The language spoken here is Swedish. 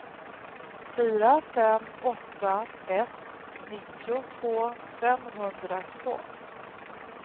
fyra fem åtta ett nittiotvå femhundratvå